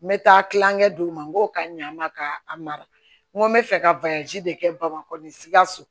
N bɛ taa kilankɛ d'o ma n ko ka ɲa n ma ka a mara n ko n bɛ fɛ ka de kɛ bamakɔ nin sikaso